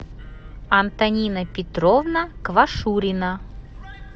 антонина петровна квашурина